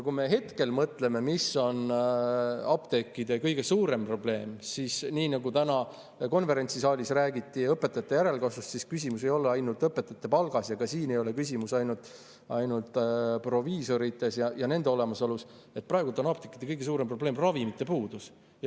Kui me mõtleme, mis on apteekide kõige suurem probleem, siis nii nagu täna konverentsisaalis õpetajate järelkasvust rääkides öeldi, et küsimus ei ole ainult palgas, siis ka siin ei ole küsimus ainult proviisorites ja nende olemasolus, vaid praegu on apteekide kõige suurem probleem ravimite puudus.